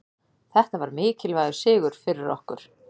Þetta var mikilvægur sigur fyrir okkur